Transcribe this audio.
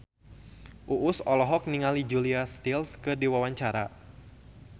Uus olohok ningali Julia Stiles keur diwawancara